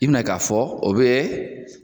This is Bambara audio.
I bɛna k'a fɔ o bɛ